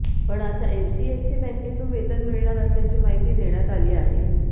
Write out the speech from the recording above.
पण आता एचडीएफसी बॅंकेतून वेतन मिळणार असल्याची माहिती देण्यात आली आहे